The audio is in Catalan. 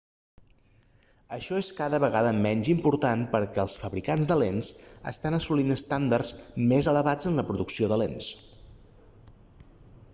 això és cada vegada menys important perquè els fabricants de lents estan assolint estàndards més elevats en la producció de lents